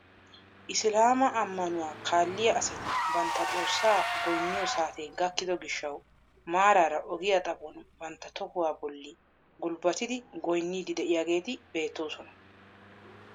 Isilaama ammanuwaa kaalliyaa asati bantta xoossa goyniyoo saatee gakkido giishshawu maarara ogiyaa xaphon bantta tihuwaa bolli gulbattidi goynniidi de'iyaageti beettoosona.